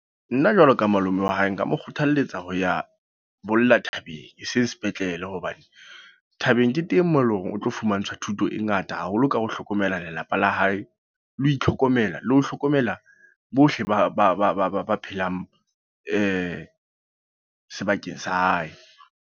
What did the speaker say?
Nna jwalo ka malome wa hae, nka mo kgothaletsa ho ya bolla thabeng. Eseng sepetlele hobane, thabeng ke teng moo eleng hore o tlo fumantshwa thuto e ngata haholo ka ho hlokomela lelapa la hae. Le ho itlhokomela, le ho hlokomela bohle ba phelang sebakeng sa hae.